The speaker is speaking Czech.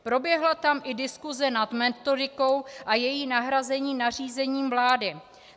Proběhla tam i diskuse nad metodikou a její nahrazení nařízením vlády.